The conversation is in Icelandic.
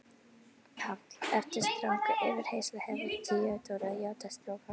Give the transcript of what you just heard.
PÁLL: Eftir stranga yfirheyrslu hefur Theodóra játað strok hans.